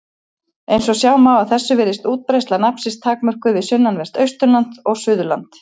Eins og sjá má af þessu virðist útbreiðsla nafnsins takmörkuð við sunnanvert Austurland og Suðurland.